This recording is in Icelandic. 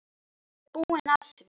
Hann er búinn að því.